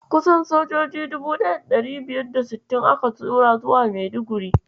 Kusan sojoji 1560 aka tura zuwa Maiduguri.